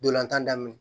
Dolantan daminɛ